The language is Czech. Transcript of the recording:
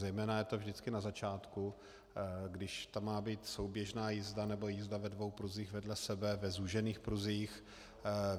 Zejména je to vždycky na začátku, když tam má být souběžná jízda nebo jízda ve dvou pruzích vedle sebe, ve zúžených pruzích.